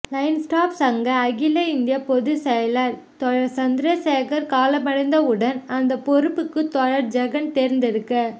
line staff சங்க அகில இந்திய பொதுச் செயலர் தோழர் சந்திரசேகர் காலமானவுடன் அந்த பொறுப்புக்கு தோழர் ஜெகன் தேர்ந்தெடுக்கப்